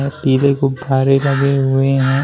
पीले गुब्बारे लगे हुए हैं।